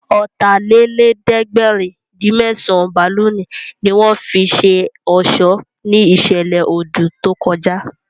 Ọ̀tàlélẹ̀ẹ́dẹ́gbẹ̀rin-dín-mẹ́sàn bálùnì ní wọ́n fi ṣe ọ̀ṣọ́ ní ìṣẹ̀lẹ̀ odù tó kọjá